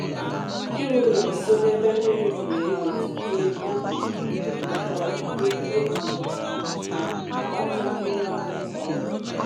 ịrụ ụlọ nsọ n'ebe mmiri dị na ewetute oge nakwa ike e ji ji agbata mmiri ọṅụṅụ kwa ụbọchị